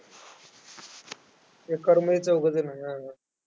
एका room मध्ये चौघं जण.